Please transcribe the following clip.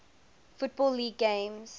football league games